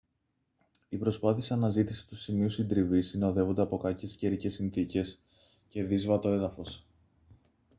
οι προσπάθειες αναζήτησης του σημείου συντριβής συνοδεύονται από κακές καιρικές συνθήκες και δύσβατο έδαφος